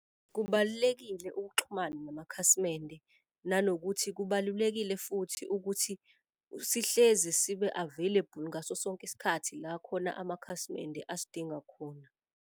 Kubalulekile ukuxhumana namakhasimende nanokuthi kubalulekile futhi ukuthi sihlezi sibe available ngaso sonke isikhathi la khona amakhasimende asidinga khona.